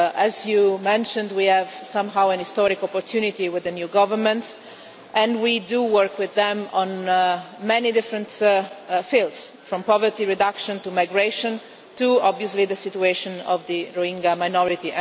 As you mentioned, we have an historic opportunity with the new government and we do work with them in many different fields, from poverty reduction to migration to, obviously, the situation of the Rohingya minority.